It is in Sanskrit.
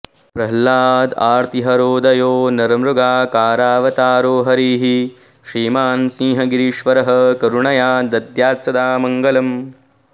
प्रह्लादार्तिहरोदयो नरमृगाकारावतारो हरिः श्रीमान् सिंहगिरीश्वरः करुणया दद्यात्सदा मङ्गलम्